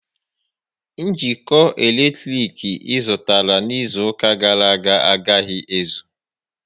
Njikọ eletriki ị zụtara n'izu ụka gàrà aga agaghi ézù